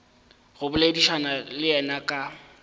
go boledišana le yena ka